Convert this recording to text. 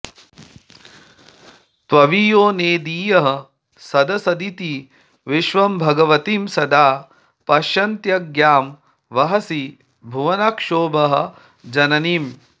दवीयो नेदीयः सदसदिति विश्वं भगवतीं सदा पश्यन्त्याज्ञां वहसि भुवनक्षोभ जननीम्